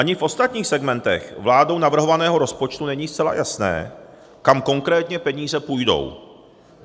Ani v ostatních segmentech vládou navrhovaného rozpočtu není zcela jasné, kam konkrétně peníze půjdou.